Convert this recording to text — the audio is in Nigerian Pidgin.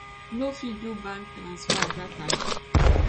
no fit do bank transfer dat time